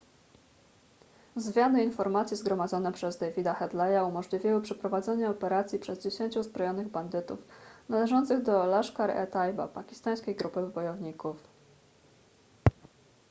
zwiady i informacje zgromadzone przez davida headleya umożliwiły przeprowadzenie operacji przez 10 uzbrojonych bandytów należących do laskhar-e-taiba pakistańskiej grupy bojowników